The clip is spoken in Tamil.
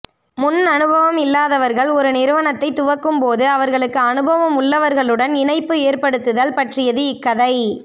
முன்னனுபவம் இல்லாதவர்கள் ஒரு நிறுவனத்தைத் துவக்கும் போது அவர்களுக்கு அனுபவம் உள்ளவர்களுடன் இணைப்பு ஏற்படுத்துதல் பற்றியது இக்கதை